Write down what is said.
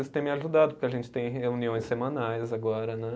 Isso tem me ajudado, porque a gente tem reuniões semanais agora, né?